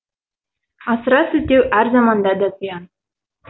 асыра сілтеу әр заманда да зиян